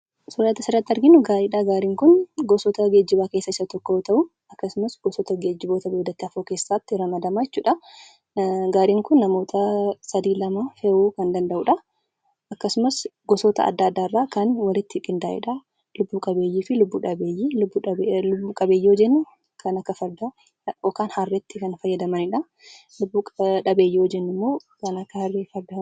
Suura nuti asirratti arginu kun gaariidha. Gaariin gosoota geejjibaa keessaa isa tokko yoo ta'u akkasumas gosoota geejjibaa lafarraatti ramadama jechuudha. Gaariin kun namootaa lama sadii fe'uu kan danda'udha. Akkasumsas gosoota adda addaarraa kan walitti qindaa'eedha. Lubbu qabeeyyii fi lubbuu dhabeeyyii. Lubbuu qabeeyyii yommuu jennu: kan akka fardaa ykn harreetti kan fayyadamanidha. Lubbuu dhabeeyyii yommuu jennu immoo: kan akka harree fi fardaati.